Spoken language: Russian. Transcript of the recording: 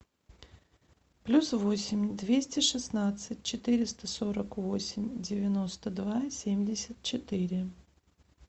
плюс восемь двести шестнадцать четыреста сорок восемь девяносто два семьдесят четыре